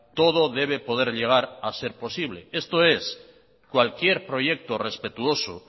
todo puede llegar a ser posible esto es cualquier proyecto respetuoso